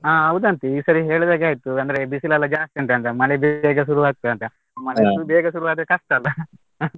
ಹಾ ಹೌದಂತೆ ಈ ಸರಿ ಹೇಳಿದ ಹಾಗೆ ಆಯ್ತು, ಅಂದ್ರೆ ಬಿಸಿಲೆಲ್ಲ ಜಾಸ್ತಿ ಉಂಟಂತೆ, ಮಳೆ ಬೇಗ ಬೇಗ ಶುರು ಆಗ್ತದೆ ಅಂತೆ, ಮಳೆ ಅಷ್ಟು ಬೇಗ ಶುರು ಆದ್ರೆ ಕಷ್ಟ ಅಲ್ಲಾ.